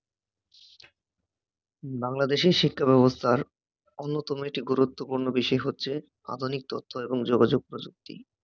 বাংলাদেশের শিক্ষা ব্যবস্থার অন্যতম একটি গুরুত্বপূর্ণ বিষয় হচ্ছে আধুনিক তথ্য এবং যোগাযোগ প্রযুক্তি